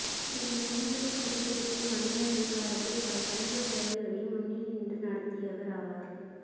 இவர் மூதுார் பிரதேசத்தில் பணியாற்றிய காலத்தில் பல சமூகசேவைகளையும் முன்னின்று நடாத்தியவராவார்